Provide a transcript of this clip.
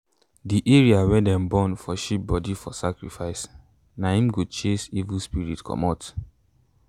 the area wey them burn for sheep body for sacrifice na im go chase evil spirit comot.